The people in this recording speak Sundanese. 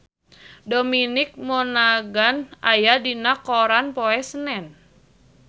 Dominic Monaghan aya dina koran poe Senen